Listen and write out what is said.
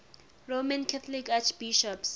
roman catholic archbishops